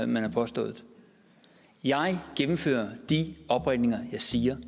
man har påstået jeg gennemfører de opringninger jeg siger